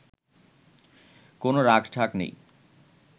কোন রাখঢাক নেই”